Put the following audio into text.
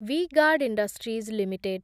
V guard industries limited